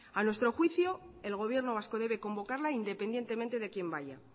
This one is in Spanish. a nuestro juicio el gobierno vasco debe convocarla independientemente de quien vaya